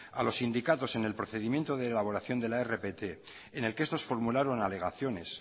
a los sindicatos en el procedimiento de elaboración de la rpt en el que estos formularon alegaciones